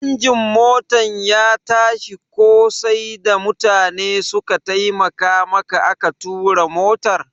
Injin Motan ya tashi ko sai da mutane suka taimaka maka aka tura motar?